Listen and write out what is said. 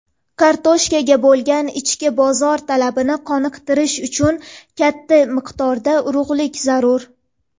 Kartoshkaga bo‘lgan ichki bozor talabini qondirish uchun katta miqdorda urug‘lik zarur.